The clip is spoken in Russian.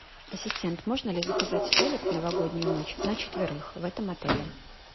ассистент можно ли заказать столик в новогоднюю ночь на четверых в этом отеле